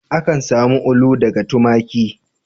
Akan samu ulu daga tumaki.